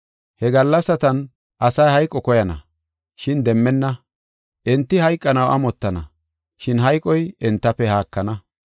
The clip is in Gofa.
He gallasatan asay hayqo koyana, shin demmenna. Enti hayqanaw amottana, shin hayqoy entafe haakana.